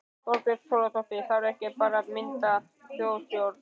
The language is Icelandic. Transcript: Þorbjörn Þórðarson: Þarf ekki bara að mynda þjóðstjórn?